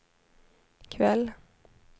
kväll